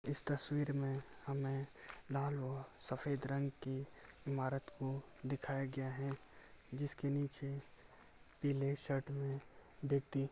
इस तस्वीर में हमें लाल रंग व सफ़ेद रंग की ईमारत को दिखाया गया है जिसके नीचे पीले शर्ट में व्यक्ति --